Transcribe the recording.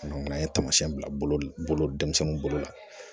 an ye taamasiyɛn bila bolo denmisɛnninw bolo la